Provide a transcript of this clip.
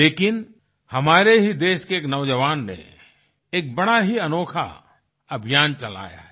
लेकिन हमारे ही देश के एक नौजवान ने एक बड़ा ही अनोखा अभियान चलाया है